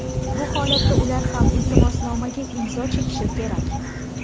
Bu holatda ular ham iltimosnomaga imzo chekishi kerak.